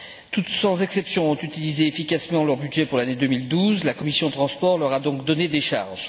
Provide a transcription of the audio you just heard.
Toutes, sans exception, ont utilisé efficacement leur budget pour l'année2012. La commission des transports leur a donc donné décharge.